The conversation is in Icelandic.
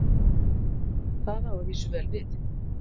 það á að vísu vel við